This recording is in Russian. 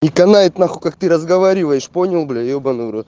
и канает нахуй как ты разговариваешь понял блять ебаный рот